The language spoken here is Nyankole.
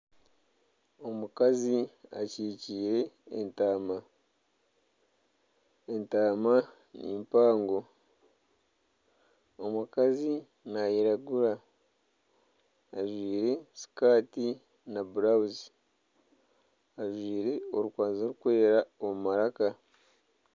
Omukazi akyikire entaama entaama ni mpango omukazi nayiragura ajwaire sikati na burawuzi ajwaire orukwazi rurikwera omu maraaka.